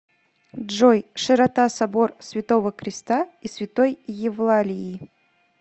джой широта собор святого креста и святой евлалии